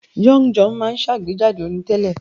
Young John máa àgbéjáde orin tẹ́lẹ̀